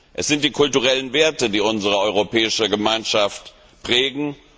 Es sind die kulturellen Werte, die unsere Europäische Gemeinschaft prägen.